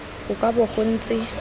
go ka bo go ntse